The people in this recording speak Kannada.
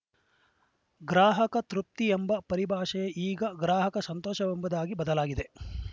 ಗ್ರಾಹಕ ತೃಪ್ತಿ ಎಂಬ ಪರಿಭಾಷೆ ಈಗ ಗ್ರಾಹಕ ಸಂತೋಷವೆಂಬುದಾಗಿ ಬದಲಾಗಿದೆ